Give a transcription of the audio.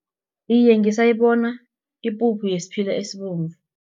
Iye, ngisayibona ipuphu yesiphila esibomvu.